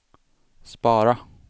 spara